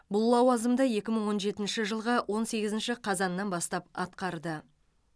бұл лауазымды екі мың он жетінші жылғы он сегізінші қазаннан бастап атқарды